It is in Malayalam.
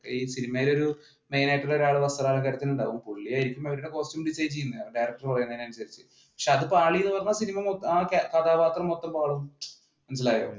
ഈ സിനിമയിൽ ഒരു മെയിൻ ആയിട്ടുള്ള ഒരാള് വസ്ത്രാലങ്കാരത്തിന് ഉണ്ടാകും. പുള്ളിയായിരിക്കും അതിന്റെ costume design ചെയ്യുന്നത് director പറയുന്നതനുസരിച്ച്. പക്ഷേ അത് പാളീന്നു പറഞ്ഞാ cinema മൊത്തം ആ കഥാപാത്രം മൊത്തം പാളും. മനസ്സിലായോ?